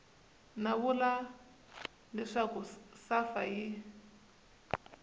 va vula leswaku safa yi